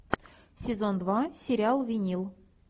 сезон два сериал винил